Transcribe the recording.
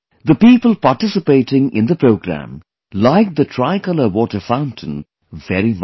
The people participating in the program liked the tricolor water fountain very much